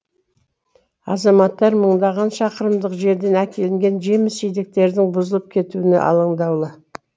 азаматтар мыңдаған шақырымдық жерден әкелінген жеміс жидектердің бұзылып кетуіне алаңдаулы